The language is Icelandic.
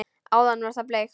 Áðan var það bleikt.